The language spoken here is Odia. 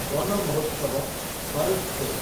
Van Mahotsav, forest day